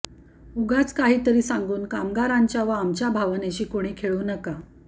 उगाच काहीतरी सांगून कामगारांच्या व आमच्या भावनेशी कोणी खेळू नका